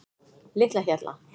Litlahjalla